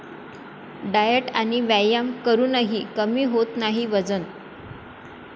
Diet आणि व्यायाम करूनही कमी होत नाही वजन?